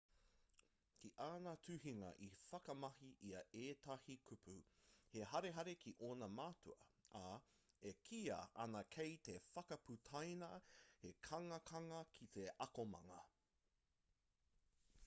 ki āna tuhinga i whakamahi ia i ētahi kupu he harehare ki ōna mātua ā e kīia ana kei te whakaputaina he kangakanga ki te akomanga